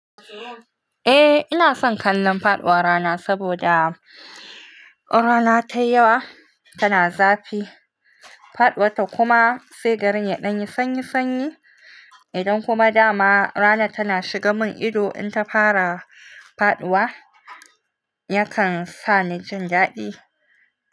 Eh ina son kallon faɗuwar rana saboda rana tai yawa tana zafi, faɗuwarta kuma sai garin ya ɗan yi sanyi sanyi. Idan kuma dama rana tana shiga min ido in ta fara faɗuwa, yakan sa ni jin daɗi.